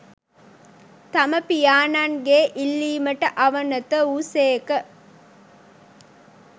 තම පියාණන්ගේ ඉල්ලීමට අවනත වූ සේක